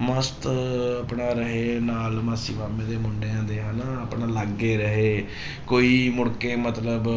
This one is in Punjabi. ਮਸਤ ਆਪਣਾ ਰਹੇ ਨਾਲ ਮਾਸੀ ਮਾਮੇ ਦੇ ਮੁੰਡਿਆਂ ਦੇ ਹਨਾ ਆਪਣਾ ਅਲੱਗ ਹੀ ਰਹੇ ਕੋਈ ਮੁੜਕੇ ਮਤਲਬ